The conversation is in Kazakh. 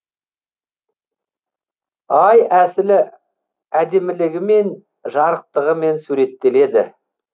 ай әсілі әдемілігімен жарықтығымен суреттеледі